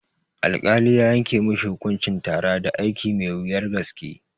Alkali ya yanke mishi hukuncin tara da aiki mai wuyar gaske